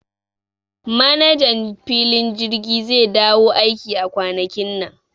Manajan filin jirgi zai dawo aiki a kwanakin nan